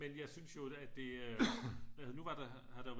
Men jeg synes jo at det øh nu var der har der